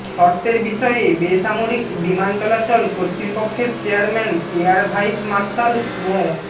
শর্তের বিষয়ে বেসামরিক বিমান চলাচল কর্তৃপক্ষের চেয়ারম্যান এয়ার ভাইস মার্শাল মো